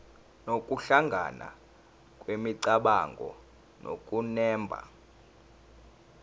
nokuhlangana kwemicabango nokunemba